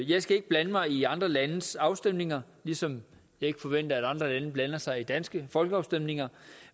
jeg skal ikke blande mig i andre landes afstemninger ligesom jeg ikke forventer at andre lande blander sig i danske folkeafstemninger